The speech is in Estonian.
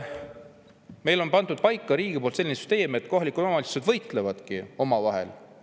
Meil on riik pannud paika sellise süsteemi, et kohalikud omavalitsused võistlevad omavahel.